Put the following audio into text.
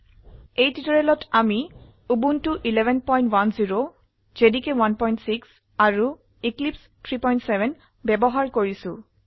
ৰ বাবে এই টিউটোৰিয়ালেৰ বাবে আমি উবুন্টু 1110 জেডিকে 16 আৰু এক্লিপছে 370 ব্যবহাৰ কৰছি